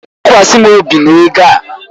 Tụkwasị m obi na ego a.